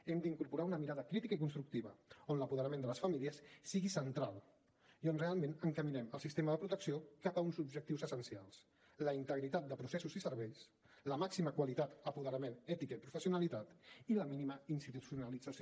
hem d’incorporar una mirada crítica i constructiva on l’apoderament de les famílies sigui central i on realment encaminem el sistema de protecció cap a uns objectius essencials la integritat de processos i serveis la màxima qualitat apoderament ètica i professionalitat i la mínima institucionalització